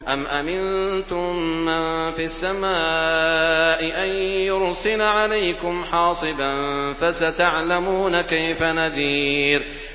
أَمْ أَمِنتُم مَّن فِي السَّمَاءِ أَن يُرْسِلَ عَلَيْكُمْ حَاصِبًا ۖ فَسَتَعْلَمُونَ كَيْفَ نَذِيرِ